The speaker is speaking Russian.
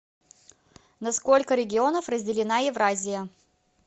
на сколько регионов разделена евразия